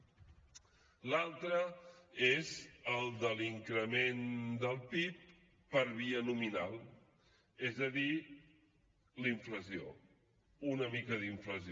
l’altre és el de l’increment del pib per via nominal és a dir la inflació una mica d’inflació